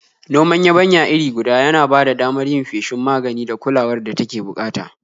Noman yabanya iri guda ya na ba da damar yin feshin magani da kulawar da take bukata.